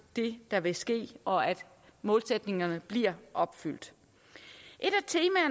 det der vil ske og at målsætningerne bliver opfyldt et